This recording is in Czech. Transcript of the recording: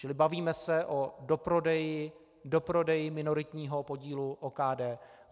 Čili bavíme se o doprodeji - doprodeji - minoritního podílu OKD.